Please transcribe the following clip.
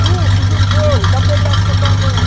Ju, fiz um bolo, dá um pedaço para a tua mãe.